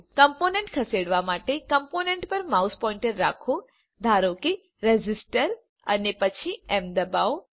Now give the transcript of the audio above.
component ખસેડવા માટેકમ્પોનન્ટ પર માઉસ પોઇન્ટર રાખો ધારો કે રેઝિસ્ટર અને પછી એમ દબાવો